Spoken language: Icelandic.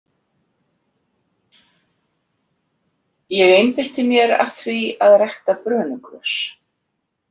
Ég einbeitti mér að því að rækta brönugrös.